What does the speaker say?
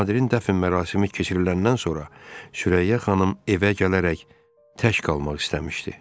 Nadirin dəfn mərasimi keçiriləndən sonra Sürəyyə xanım evə gələrək tək qalmaq istəmişdi.